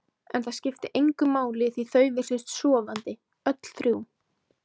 En það skipti engu máli því þau virtust sofandi, öll þrjú.